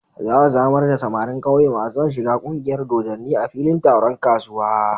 Za a zamar da samarin ƙauye masu son shiga ƙungiyar dodanni a filin taron kasuwa.